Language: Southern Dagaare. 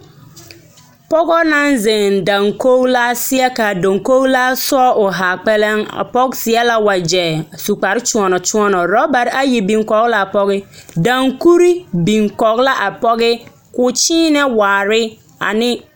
pɔge naŋ heŋ daŋkogilaa seɛ ka a daŋkogilaa soɔ o haa kpɛlɛŋ. A pɔge seɛ la wagyɛ a su kpare kyoɔnɔ kyoɔnɔ. Orabare ayi biŋ kɔge la a pɔge, daŋkuri biŋ kɔge la a pɔge ka o kyeenɛ waare ane…